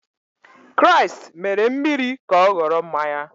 Kraịst mere mmiri ka ọ ghọrọ mmanya.